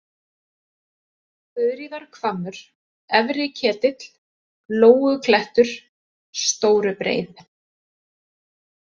Þuríðarhvammur, Efri-Ketill, Lóuklettur, Stórubreið